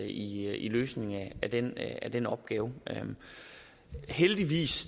i løsningen af den af den opgave heldigvis